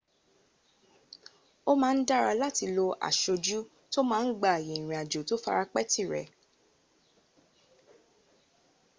ó má ń dára láti lo asojú tó má ń gba ààyè ìrìn àjò tó fara pẹ́ tìrẹ